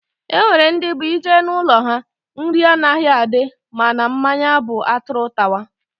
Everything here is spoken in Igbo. Enwere ndị bụ ị jee n'ụlọ ha, nri anaghị adị mana mmanya bụ atụrụ tawa